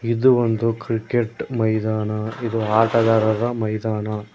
ಇದು ಒಂದು ಕ್ರಿಕೆಟ್ ಮೈದಾನ ಇದು ಆಟಗಾರರ ಮೈದಾನ.